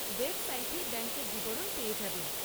ওয়েবসাইটেই ব্যাঙ্কের বিবরণ পেয়ে যাবেন।